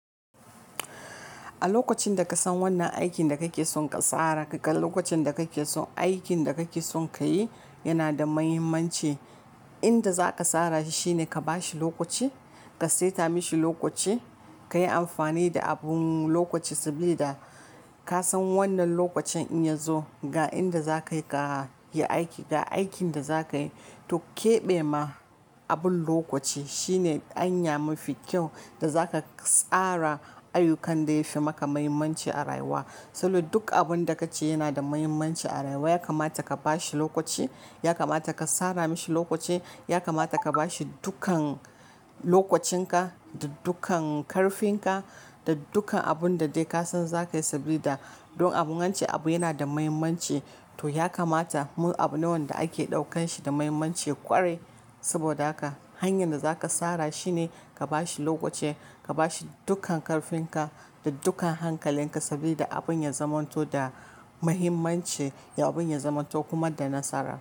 A lokacin da ka san wannan aikin da kake son ka tsara, lokacin da kake son aikin da kake son kayi yana da muhimmanci. Inda za ka tsara shi shine ka ba shi lokaci, ka saita mashi lokaci, ka yi amfani da abun lokaci saboda ka san wannan lokacin in ya zo ga inda za ka yi aiki ga aikin da za ka yi. To keɓe ma abin lokaci shine hanya mafi kyau da zaka tsara ayyukan da ya fi maka mahimmanci a rayuwa. Sannan duk abin da kace yana da mahimmanci a rayuwa. Yakamata ka ba shi lokaci, yakamata ka tsara mashi lokaci, yakamata ka ba shi dukkan lokacin ka da dukkan karfin ka da dukkan abun da kai ka san zaka yi saboda dun abun wance abu yana da mahimmanci. To ya kamata mu abu nawanda ake ɗaukan shi da mahimmanci kware. Saboda haka hanyar da za ka tsara shine ka ba shi lokaci, ka ba shi dukkan karfin ka da dukkan hankalin ka saboda abun ya zamanto da mahimmanci, abun ya zamanto kuma da nasara.